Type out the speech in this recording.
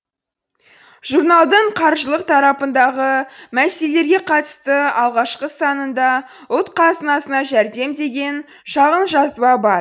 журналдың қаржылық тарапындағы мәселелерге қатысты алғашқы санында ұлт қазынасына жәрдем деген шағын жазба бар